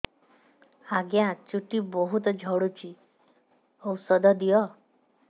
ଆଜ୍ଞା ଚୁଟି ବହୁତ୍ ଝଡୁଚି ଔଷଧ ଦିଅ